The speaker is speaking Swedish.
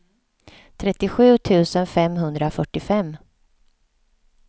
trettiosju tusen femhundrafyrtiofem